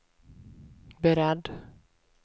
beredd